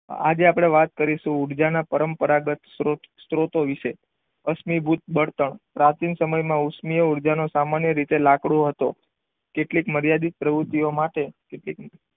આજે આપણે વાત કરીશું ઊર્જાના પરંપરાગત સ્ત્રોત સ્ત્રોતો વિશે. અશ્મિભૂત બળતણ પ્રાચીન સમયમાં ઉષ્મીય ઉર્જા નો સામાન્ય રીતે લાકડું હતો. કેટલીક મર્યાદિત પ્રવૃત્તિઓ માટે કેટલીક,